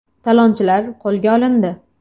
Talonchilar qo‘lga olindi.